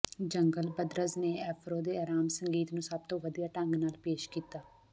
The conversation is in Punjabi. ਜੰਗਲ ਬ੍ਰਦਰਜ਼ ਨੇ ਐਫਰੋ ਦੇ ਅਰਾਮ ਸੰਗੀਤ ਨੂੰ ਸਭ ਤੋਂ ਵਧੀਆ ਢੰਗ ਨਾਲ ਪੇਸ਼ ਕੀਤਾ